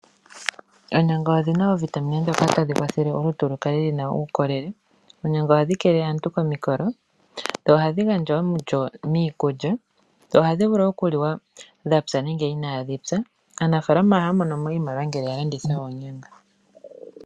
Oonyanga odhina iitungithilutu mbyoka tayi kwathele omuntu akale ena uukolele. Oonyanga ohadhi kwathele komikolo. Dho ohadhi gandja omulyo miikulya . Ohadhi vulu okuliwa dhapya nenge inaadhi pya . Aanafaalama ohaya monomo iimaliwa ngele yalanditha oonyanga.